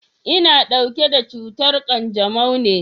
Ina ɗauke da cutar ƙanjamau ne.